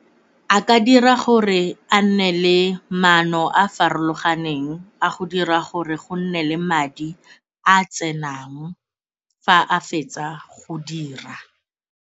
A ka dira gore a nne le manno a a farologaneng a go dira gore go nne le madi a a tsenang fa a fetsa go dira.